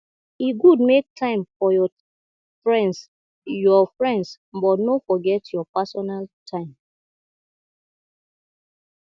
e good make time for your friends your friends but no forget your personal time